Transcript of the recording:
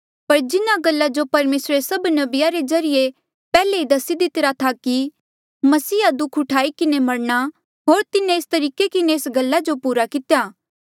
पर जिन्हा गल्ला जो परमेसरे सभ नबिया रे ज्रीए ले पैहले ई दसी दितिरा था कि तेसरे मसीहा दुःख ऊठाई किन्हें मरणा होर तिन्हें एस तरीके किन्हें इन्हा गल्ला जो पूरा कितेया